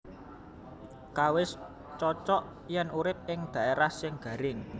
Kawis cocog yén urip ing dhaerah sing garing